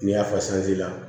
N'i y'a fasa